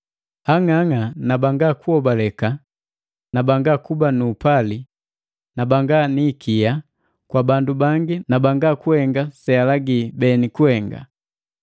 Ang'ang'a na banga kuhobaleka na banga kuba nu upali na banga ni ikiya kwa bandu bangi na banga kuhenga sealagi beni kuhenga.